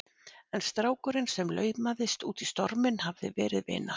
En strákurinn sem laumaðist út í storminn hafði verið vina